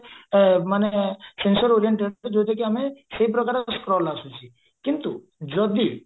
ମାନେ sensor oriented ଯୋଉଟା କି ଆମେ ସେହି ପ୍ରକାର scroll ଆସୁଚି କିନ୍ତୁ ଯଦି